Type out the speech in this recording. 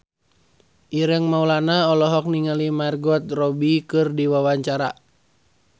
Ireng Maulana olohok ningali Margot Robbie keur diwawancara